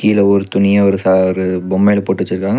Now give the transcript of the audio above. இதுல ஒரு துணிய ஒரு சாரு பொம்மல போட்டு வச்சிருக்கா--